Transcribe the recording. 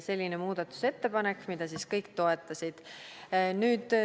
See oli muudatusettepanek, mida kõik toetasid.